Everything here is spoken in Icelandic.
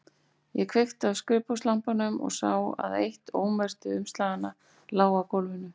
Ég kveikti á skrifborðslampanum og sá að eitt ómerktu umslaganna lá á gólfinu.